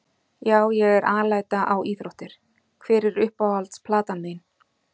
Já ég er alæta á íþróttir Hver er uppáhalds platan þín?